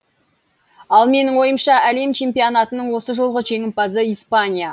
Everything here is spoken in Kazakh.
ал менің ойымша әлем чемпионатының осы жолғы жеңімпазы испания